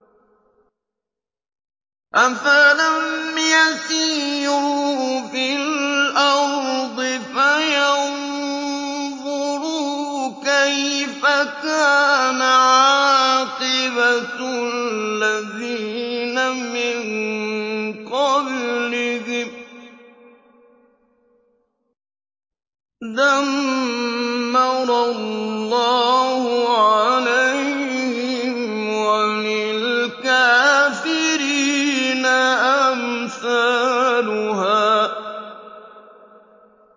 ۞ أَفَلَمْ يَسِيرُوا فِي الْأَرْضِ فَيَنظُرُوا كَيْفَ كَانَ عَاقِبَةُ الَّذِينَ مِن قَبْلِهِمْ ۚ دَمَّرَ اللَّهُ عَلَيْهِمْ ۖ وَلِلْكَافِرِينَ أَمْثَالُهَا